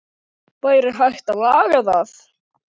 Hvorugt var raunin.